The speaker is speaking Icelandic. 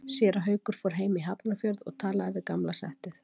Séra Haukur fór heim í Hafnarfjörð og talaði við gamla settið.